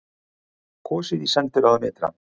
Kosið í sendiráðum ytra